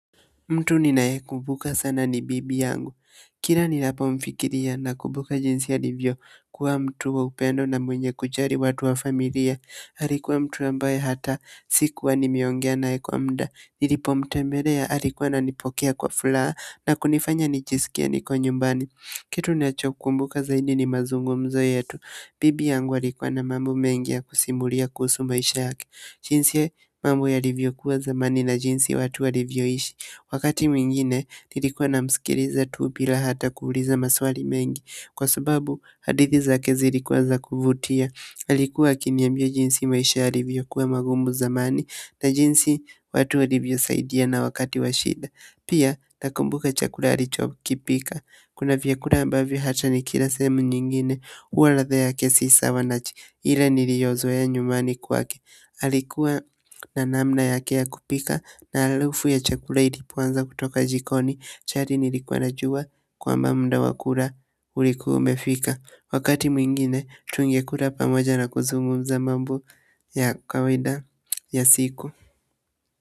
Mtu ninaye kumbuka sana ni bibi yangu. Kila ninapomfikiria na kumbuka jinsi alivyokuwa mtu wa upendo na mwenye kujali watu wa familia. Alikuwa mtu ambaye hata sikuwa nimeongea naye kwa muda. Nilipomtembelea alikuwa ananipokea kwa furaha na kunifanya nijisikie niko nyumbani. Kitu ninacho kumbuka zaidi ni mazungumzo yetu. Bibi yangu alikuwa na mambo mengi ya kusimulia kuhusu maisha yake. Jinsi mambo yalivyokuwa zamani na jinsi watu walivyoishi. Wakati mwingine, nilikuwa namsikiliza tu bila hata kuuliza maswali mengi, kwa sababu, hadithi zake zilikuwa za kuvutia. Alikuwa akiniambia jinsi maisha yalivyokuwa magumu zamani na jinsi watu walivyosaidiana wakati wa shida pia, nakumbuka chakula alichokipika kuna vyakula ambavyo hata nikila sehemu nyingine huwa ladha yake si sawa na kile niliyozoea nyumbani kwake. Alikuwa na namna yake ya kupika na harufu ya chakula ilipoanza kutoka jikoni, tayari nilikuwa najua kwamba muda wa kula ulikuwa umefika. Wakati mwingine, tungekula pamoja na kuzungumza mambo ya kawaida ya siku.